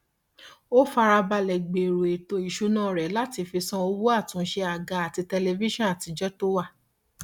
ó fara balẹ gbèrò ètò ìṣúná rẹ láti fi san owó àtúnṣe àga àti tẹlifíṣàn àtijọ tó wà